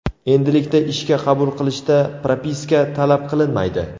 Endilikda ishga qabul qilishda propiska talab qilinmaydi.